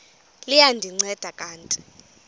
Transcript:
liya ndinceda kanti